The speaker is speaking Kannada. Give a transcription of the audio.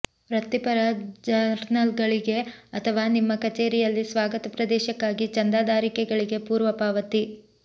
ವೃತ್ತಿಪರ ಜರ್ನಲ್ಗಳಿಗೆ ಅಥವಾ ನಿಮ್ಮ ಕಚೇರಿಯಲ್ಲಿ ಸ್ವಾಗತ ಪ್ರದೇಶಕ್ಕಾಗಿ ಚಂದಾದಾರಿಕೆಗಳಿಗೆ ಪೂರ್ವ ಪಾವತಿ